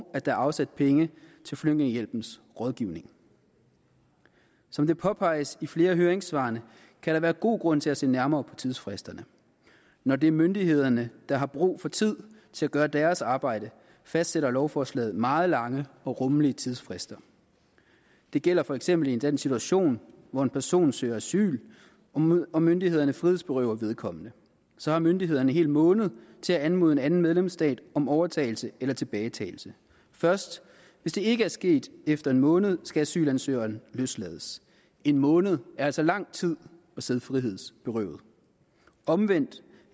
at der er afsat penge til flygtningehjælpens rådgivning som det påpeges i flere af høringssvarene kan der være god grund til at se nærmere på tidsfristerne når det er myndighederne der har brug for tid til at gøre deres arbejde fastsætter lovforslaget meget lange og rummelige tidsfrister det gælder for eksempel i den situation hvor en person søger asyl og myndighederne frihedsberøver vedkommende så har myndighederne en hel måned til at anmode en anden medlemsstat om overtagelse eller tilbagetagelse hvis det ikke er sket efter en måned skal asylansøgeren løslades en måned er altså lang tid at sidde frihedsberøvet omvendt